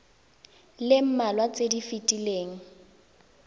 le mmalwa tse di fetileng